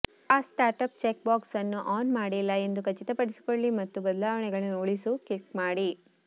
fast startup checkbox ಅನ್ನು on ಮಾಡಿಲ್ಲ ಎಂದು ಖಚಿತಪಡಿಸಿಕೊಳ್ಳಿ ಮತ್ತು ಬದಲಾವಣೆಗಳನ್ನು ಉಳಿಸು ಕ್ಲಿಕ್ ಮಾಡಿ